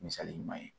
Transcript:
Misali ɲuman ye